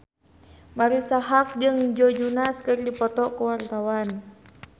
Marisa Haque jeung Joe Jonas keur dipoto ku wartawan